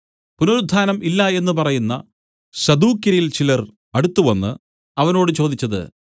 പുനരുത്ഥാനം ഇല്ല എന്നു പറയുന്ന സദൂക്യരിൽ ചിലർ അടുത്തുവന്ന് അവനോട് ചോദിച്ചത്